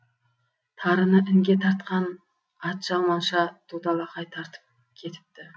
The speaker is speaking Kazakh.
тарыны інге тартқан атжалманша туталақай тартып кетіпті